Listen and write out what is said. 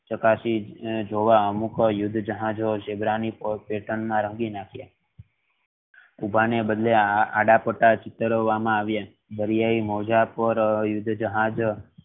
જોવ અમુક ઝીબ્રા ની pattern માં ઉભા ને બદલે આડા પટ્ટા ચિતાર વામાં આવિયા દરિયાઈ મોજા પર યુદ્ધ જહાજ